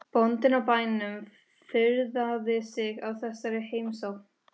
Bóndinn á bænum furðaði sig á þessari heimsókn.